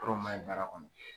Ko dɔ maɲi baara kɔnɔ